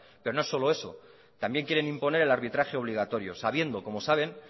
pero no es solo eso también quieren imponer el arbitraje obligatorio sabiendo como saben